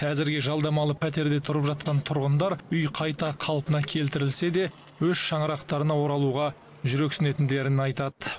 әзірге жалдамалы пәтерде тұрып жатқан тұрғындар үй қайта қалпына келтірілсе де өз шаңырақтарына оралуға жүрексінетіндерін айтады